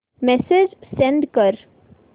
message send कर